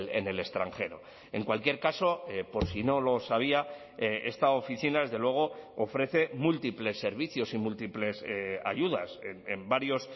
en el extranjero en cualquier caso por si no lo sabía esta oficina desde luego ofrece múltiples servicios y múltiples ayudas en varios